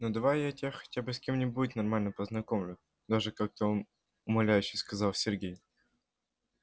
ну давай я тебя хотя бы с кем-нибудь нормальным познакомлю даже как-то умоляюще сказал сергей